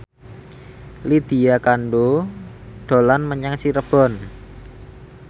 Lydia Kandou dolan menyang Cirebon